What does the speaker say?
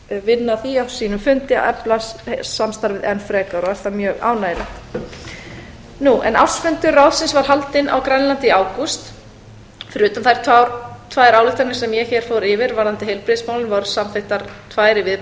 vinna að því á sínum fundi að efla samstarfið enn frekar og er það mjög ánægjulegt ársfundur ráðsins var haldinn á grænlandi í ágúst fyrir utan þær tvær ályktanir sem ég hér fór yfir varðandi heilbrigðismálin voru samþykktar tvær